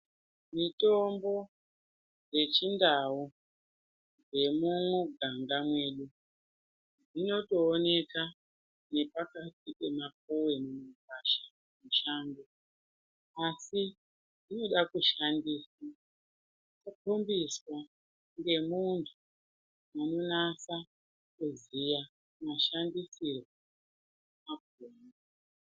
Mitombo yechindau yemuganga mwedu inotooneka nepakati pemapuwe mumagwasha mushango ,asi inoda kushandiswa wafundiswa ngemunhu anonase kuziya mashandisirwo acho emene.